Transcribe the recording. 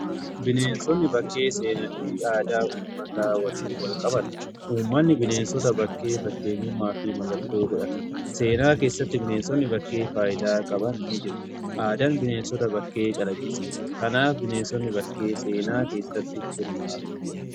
Bineensonni bakkee seenaa fi aadaa uummataa waliin wal qabata. Uummanni bineensota bakkee fakkeenyummaa fi mallattoo godhata. Seenaa keessatti bineensonni bakkee faayidaa qaban ni jiru. Aadaan bineensota bakkee calaqqisiisa. Kanaaf bineensonni bakkee seenaa keessatti hirmaata.